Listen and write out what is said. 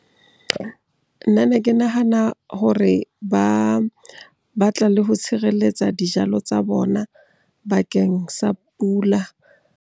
Nna ne ke nahana hore ba batla le ho tshireletsa dijalo tsa bona bakeng sa pula.